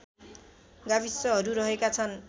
गाविसहरू रहेका छन्